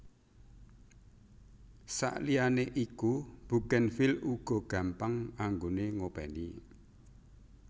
Sakliyane iku bugenvil uga gampang anggoné ngopèni